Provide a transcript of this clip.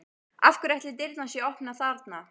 Af hverju ætli dyrnar séu opnar þarna?